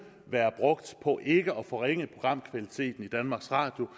være brugt på ikke at forringe programkvaliteten i danmarks radio